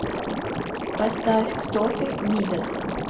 поставь кто ты мидас